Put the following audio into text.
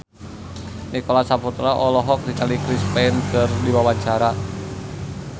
Nicholas Saputra olohok ningali Chris Pane keur diwawancara